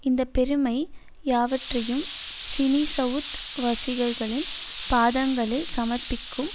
இந்த பெருமை யாவற்றையும் சினிசவுத் வசிகர்களின் பாதங்களில் சமர்ப்பிக்கும்